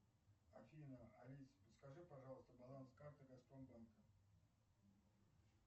афина алиса подскажи пожалуйста баланс карты газпромбанка